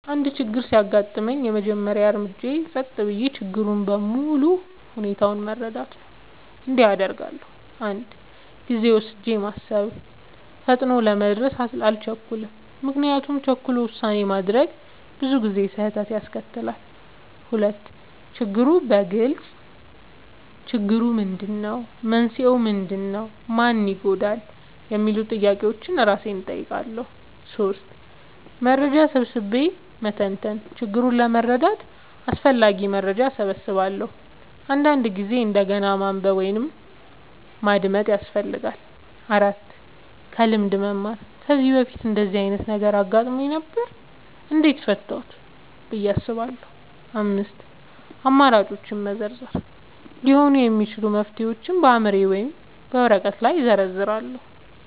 አንድ ችግር ሲያጋጥመኝ፣ የመጀመሪያው እርምጃዬ ጸጥ ብዬ ችግሩን በሙሉ ሁኔታው መረዳት ነው። እንዲህ አደርጋለሁ፦ 1. ጊዜ ወስጄ ማሰብ – ፈጥኖ ለመድረስ አልቸኩልም፤ ምክንያቱም ቸኩሎ ውሳኔ ማድረግ ብዙ ጊዜ ስህተት ያስከትላል። 2. ችግሩን በግልጽ መግለጽ – "ችግሩ ምንድነው? መንስኤው ምንድነው? ማን ይጎዳል?" የሚሉ ጥያቄዎችን እራሴን እጠይቃለሁ። 3. መረጃ ሰብስቤ መተንተን – ችግሩን ለመረዳት አስፈላጊ መረጃ እሰበስባለሁ፤ አንዳንድ ጊዜ እንደገና ማንበብ ወይም ማዳመጥ ያስፈልጋል። 4. ከልምድ መማር – "ከዚህ በፊት እንደዚህ ዓይነት ነገር አጋጥሞኝ ነበር? እንዴት ፈታሁት?" ብዬ አስባለሁ። 5. አማራጮችን መዘርዘር – ሊሆኑ የሚችሉ መፍትሄዎችን በአእምሮዬ ወይም በወረቀት ላይ እዘርዝራለሁ።